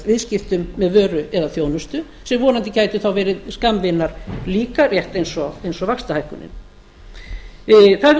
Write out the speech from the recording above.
viðskiptum með vöru eða þjónustu sem vonandi gætu þá verið skammvinn líka rétt eins og vaxtahækkunin það hefur